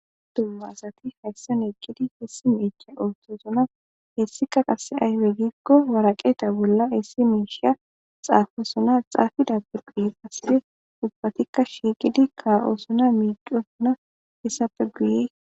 Dumma asati haysan eqidi issi mishe othosona Hesika qase aybe gikko waraqata bolla issi mshsha xapisona xappida guye ubbatika shiqidi ka'osona mic'osona hesappe guye